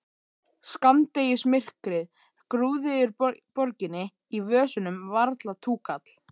Skammdegismyrkrið grúfði yfir borginni, í vösunum varla túkall.